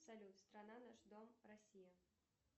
салют страна наш дом россия